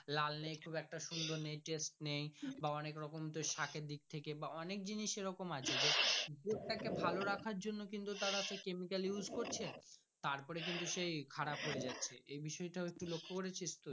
লাল নেই খুব একটা সুন্দর নেচার নেই বা অনেক রকম তোর সাকের দিকথেকে বা অনেক জিনিস এ রকম আছে যে যে তাকে ভালো রাখার জন্য কিন্তু তারা chemical use করছে তার পরে কিন্তু সেই খারাপ হয়ে যাচ্ছে এই বিষয় টা তুই লক্ষ্য করেছি তুই।